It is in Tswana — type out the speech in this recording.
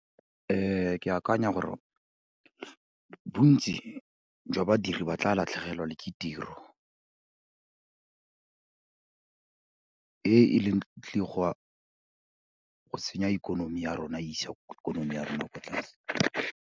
ke akanya gore bontsi jwa badiri ba tla latlhegelwa le ke tiro e e leng, e tlileng go senya ikonomi ya rona e isa ikonomi ya rona ko tlase.